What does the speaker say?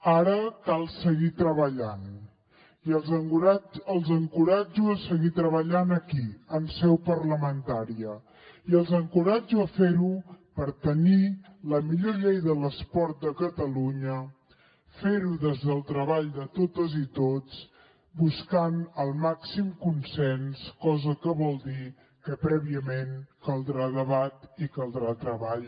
ara cal seguir treballant i els encoratjo a seguir treballant aquí en seu parlamentària i els encoratjo a fer ho per tenir la millor llei de l’esport de catalunya fer ho des del treball de totes i tots buscant el màxim consens cosa que vol dir que prèviament caldrà debat i caldrà treball